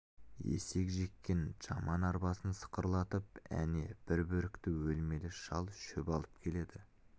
есек жеккен жаман арбасын сықырлатып әне бір бөрікті өлмелі шал шөп алып келеді